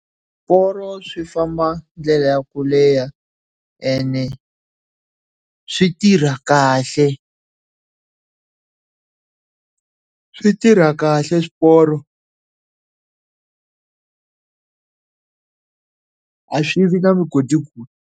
Swiporo swi famba ndlela ya ku leha ene, swi tirha kahle swi tirha kahle swiporo a swi vi na mugodigodi.